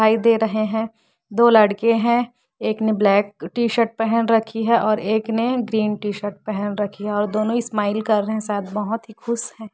दिखाई दे रहे हैदो लड़के है एक ने ब्लैक टी शर्ट पहन रखी है और एक ने ग्रीन टी शर्ट पहन रखी है और दोनों स्माइल कर रहे है शायद बहुत ही खुश है।